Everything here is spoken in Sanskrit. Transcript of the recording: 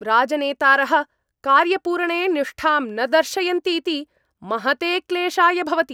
राजनेतारः कार्यपूरणे निष्ठां न दर्शयन्तीति महते क्लेशाय भवति।